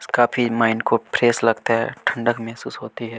कुछ काफी माइंड को फ्रेश लगता है ठंडक महसूस होती है।